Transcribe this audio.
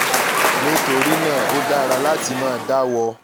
nitorina o dara lati ma dawọ